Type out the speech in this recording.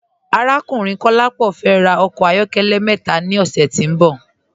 Arákùnrin Kọ̀lápọ fẹ́ rà ọkọ ayọ̀kẹlẹ̀ mẹta ni ọṣẹ̀ tí n bọ̀.